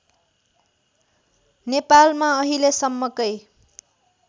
नेपालमा अहिलेसम्मकै